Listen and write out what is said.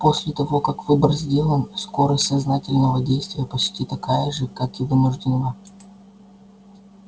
после того как выбор сделан скорость сознательного действия почти такая же как и вынужденного